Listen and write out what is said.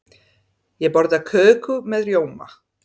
Ég borða köku með rjóma.